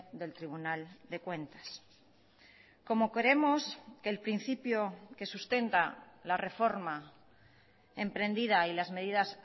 del tribunal de cuentas como creemos que el principio que sustenta la reforma emprendida y las medidas